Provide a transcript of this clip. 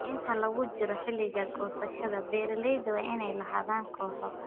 Inta lagu jiro xilliga goosashada, beeralayda waa inay lahaadaan kooxo.